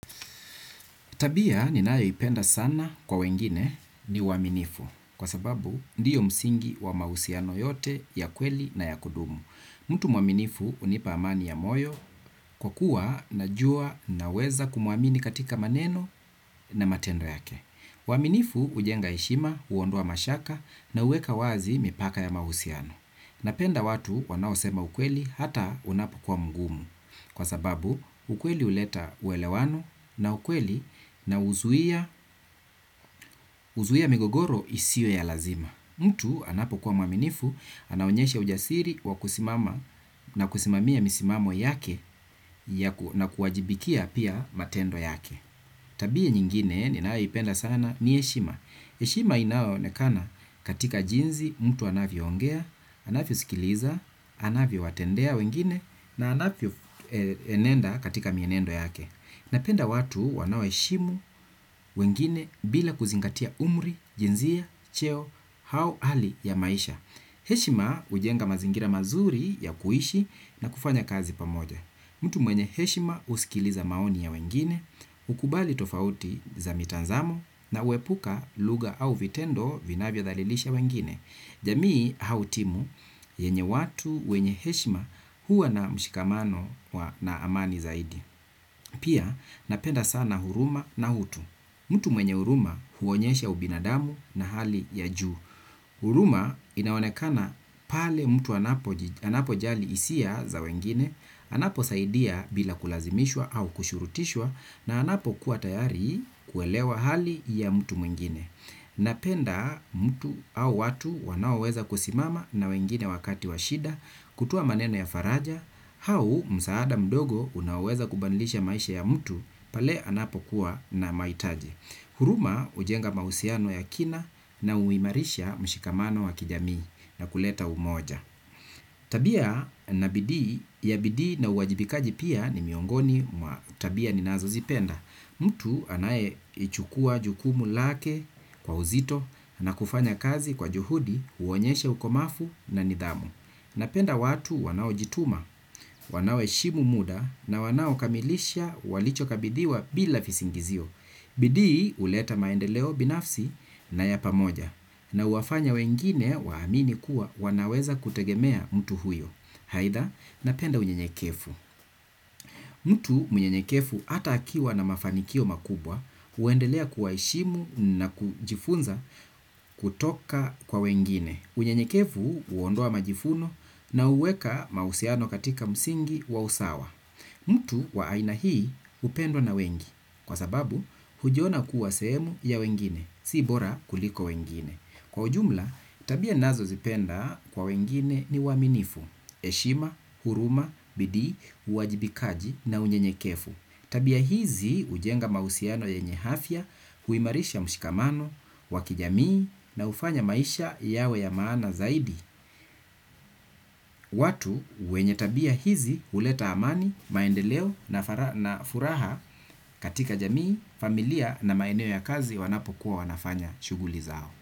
Tabia ninayoipenda sana kwa wengine ni uaminifu kwa sababu ndiyo msingi wa mahusiano yote ya kweli na ya kudumu. Mtu mwaminifu hunipa amani ya moyo kwa kuwa najua naweza kumwamini katika maneno na matendo yake. Uaminifu hujenga heshima, huondoa mashaka na huweka wazi mipaka ya mahusiano. Napenda watu wanaosema ukweli hata unapokuwa mgumu. Kwa sababu ukweli huleta uelewano na ukweli na huzuia migogoro isiyo ya lazima. Mtu anapokuwa mwaminifu, anaonyeshe ujasiri wa kusimama na kusimamia misimamo yake na kuwajibikia pia matendo yake. Tabia nyingine ninayoipenda sana ni heshima. Heshima inayoonekana katika jinsi mtu anavyoongea, anavyosikiliza, anavyowatendea wengine na anavyoenenda katika mienendo yake, napenda watu wanaoheshimu wengine bila kuzingatia umri, jinsia, cheo au hali ya maisha. Heshima hujenga mazingira mazuri ya kuishi na kufanya kazi pamoja. Mtu mwenye heshima husikiliza maoni ya wengine. Hukubali tofauti za mitazamo na huepuka lugha au vitendo vinavyodhalilisha wengine. Jamii au timu yenye watu wenye heshima huwa na mshikamano na amani zaidi. Pia napenda sana huruma na hutu. Mtu mwenye huruma huonyesha ubinadamu na hali ya juu. Huruma inaonekana pale mtu anapojali hisia za wengine, anaposaidia bila kulazimishwa au kushurutishwa na anapokuwa tayari kuelewa hali ya mtu mwingine. Napenda mtu au watu wanaoweza kusimama na wengine wakati wa shida kutoa maneno ya faraja, hau msaada mdogo unaoweza kubadilisha maisha ya mtu pale anapokuwa na mahitaji. Huruma hujenga mahusiano ya kina na huimarisha mshikamano wa kijamii na kuleta umoja. Tabia na bidii ya bidii na uwajibikaji pia ni miongoni mwa tabia ninazozipenda. Mtu anayeichukua jukumu lake kwa uzito na kufanya kazi kwa juhudi huonyesha ukomafu na nidhamu. Napenda watu wanaojituma, wanaoheshimu muda na wanaokamilisha walichokabidhiwa bila visingizio. Bidii huleta maendeleo binafsi na ya pamoja. Na huwafanya wengine waamini kuwa wanaweza kutegemea mtu huyo. Aidha, napenda unyenyekevu. Mtu mnyenyekevu hata akiwa na mafanikio makubwa, huendelea kuwaheshimu na kujifunza kutoka kwa wengine. Unyenyekevu huondoa majivuno na huweka mahusiano katika msingi wa usawa. Mtu wa aina hii hupendwa na wengi, kwa sababu hujiona kuwa sehemu ya wengine, si bora kuliko wengine. Kwa ujumla, tabia ninazozipenda kwa wengine ni uaminifu, heshima, huruma, bidii, uwajibikaji na unyenyekevu. Tabia hizi hujenga mahusiano yenye afya, huimarisha mshikamano, wa kijamii na hufanya maisha yawe ya maana zaidi. Watu wenye tabia hizi huleta amani, maendeleo na furaha katika jamii, familia na maeneo ya kazi wanapokuwa wanafanya shughuli zao.